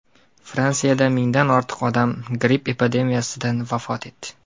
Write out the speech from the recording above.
Fransiyada mingdan ortiq odam gripp epidemiyasidan vafot etdi.